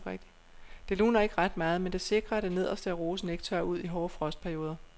Det luner ikke ret meget, men det sikrer at det nederste af rosen ikke tørrer ud i hårde frostperioder.